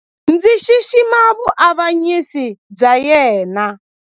Ndzi xixima vuavanyisi bya yena.